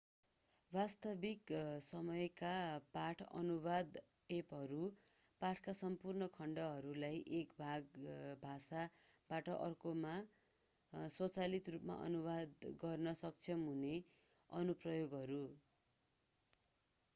वास्तविक-समयका पाठ अनुवादक एपहरू पाठका सम्पूर्ण खण्डहरूलाई एक भाषाबाट अर्कोमा स्वचालित रूपमा अनुवाद गर्न सक्षम हुने अनुप्रयोगहरू